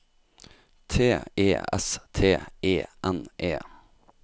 T E S T E N E